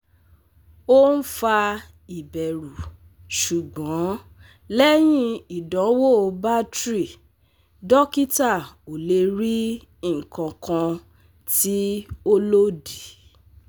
O n fa iberu sugbon lehin idanwo battery, dokita o le ri ikankan ti o lodi